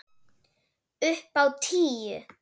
Upp á tíu.